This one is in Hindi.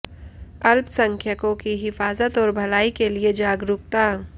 अल्पसंख्यकों की हिफाजत और भलाई के लिए जागरूकता